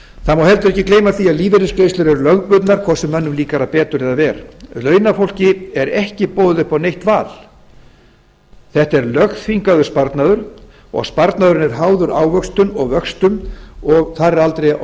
það má heldur ekki gleyma því að lífeyrisgreiðslur eru lögbundnar hvort sem mönnum líkar það betur eða verr launafólki er ekki boðið upp á neitt val þetta er lögþvingaður sparnaður og sparnaðurinn er háður ávöxtun og vöxtum og þar er aldrei á